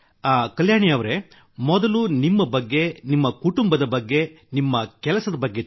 ಕಲ್ಯಾಣಿ ಅವರೆ ಮೊದಲು ನಿಮ್ಮ ಬಗ್ಗೆ ನಿಮ್ಮ ಕುಟುಂಬದ ಬಗ್ಗೆ ನಿಮ್ಮ ಕೆಲಸದ ಬಗ್ಗೆ ತಿಳಿಸಿ